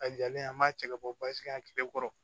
A jalen an b'a cɛ ka bɔ basi yan kile kɔrɔ